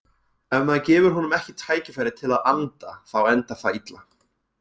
Ef maður gefur honum ekki tækifæri til að anda þá endar það illa.